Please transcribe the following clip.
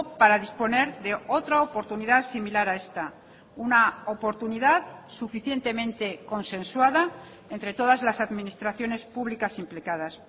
para disponer de otra oportunidad similar a esta una oportunidad suficientemente consensuada entre todas las administraciones públicas implicadas